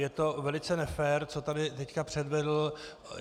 Je to velice nefér, co tady teď předvedl.